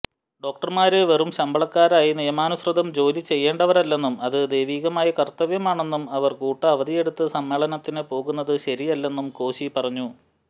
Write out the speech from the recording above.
ഡോക്ടര്മാര് വെറും ശമ്പളക്കാരായി നിയമാനുസൃതം ജോലിചെയ്യേണ്ടവരല്ലെന്നും അത് ദൈവീകമായ കര്ത്തവ്യമാണെന്നും അവര് കൂട്ടഅവധിയെടുത്ത് സമ്മേളനത്തിന് പോകുന്നത് ശരിയല്ലെന്നും കോശി പറഞ്ഞു